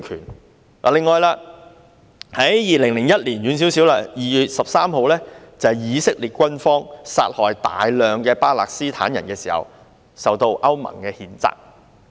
此外，在比較遠的2001年2月13日，以色列軍方殺害大量巴勒斯坦人時受到歐盟譴責。